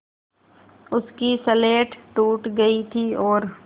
उसकी स्लेट टूट गई थी और